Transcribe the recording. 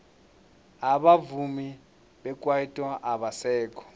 abavumi bekwaito abasekho